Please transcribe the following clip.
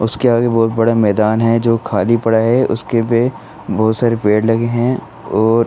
उसके आगे बोहोत बडा मैदान है जो खाली पड़ा है। उसके पे बोहोत सारे पेड़ लगे हैं और --